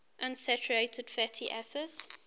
unsaturated fatty acids